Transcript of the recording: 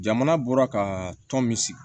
Jamana bɔra ka tɔn min sigi